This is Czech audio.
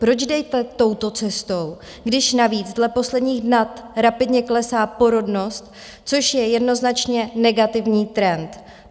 Proč jdete touto cestou, když navíc dle posledních dat rapidně klesá porodnost, což je jednoznačně negativní trend?